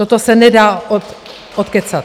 Toto se nedá odkecat.